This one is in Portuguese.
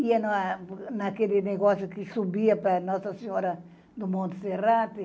Ia na naquele negócio que subia para Nossa Senhora do Monte Serrape.